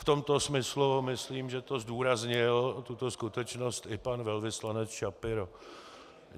V tomto smyslu myslím, že to zdůraznil, tuto skutečnost, i pan velvyslanec Schapiro.